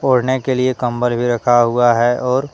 ओढ़ने के लिए कम्बल भी रखा हुआ है और।